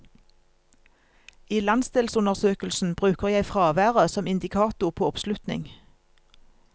I landsdelsundersøkelsen bruker jeg fraværet som indikator på oppslutning.